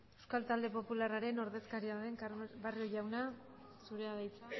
euskal talde popularraren ordezkaria den barrio jauna zurea da hitza